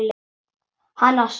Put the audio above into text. Hana Sonju?